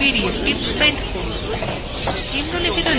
পিডিএফটি print করুন